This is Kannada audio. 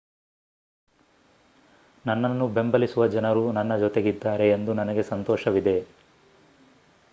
ನನ್ನನ್ನು ಬೆಂಬಲಿಸುವ ಜನರು ನನ್ನ ಜೊತೆಗಿದ್ದಾರೆ ಎಂದು ನನಗೆ ಸಂತೋಷವಿದೆ